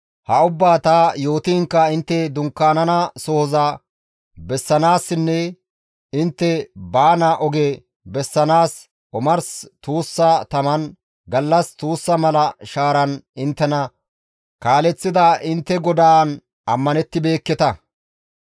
Ha ubbaa ta yootiinkka intte dunkkaanana sohoza bessanaassinne intte baana oge bessanaas omars tuussa taman, gallas tuussa mala shaaran inttena kaaleththida intte GODAAN ammanettibeekketa.